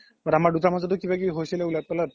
but আমাৰ মাজ্তো কিবা কিবি হৈছিলে উলাত পালাত